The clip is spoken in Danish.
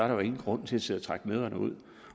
der jo ingen grund til at sidde og trække møderne ud